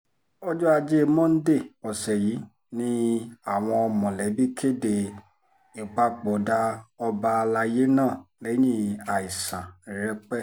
ọjọ́ ajé monde ọ̀sẹ̀ yìí ni àwọn mọ̀lẹ́bí kéde ìpapòdà ọba àlàyé náà lẹ́yìn àìsàn rẹpẹ́